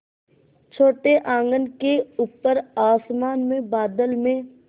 छोटे आँगन के ऊपर आसमान में बादल में